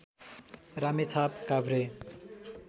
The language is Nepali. रामेछाप काभ्रे